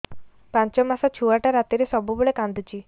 ପାଞ୍ଚ ମାସ ଛୁଆଟା ରାତିରେ ସବୁବେଳେ କାନ୍ଦୁଚି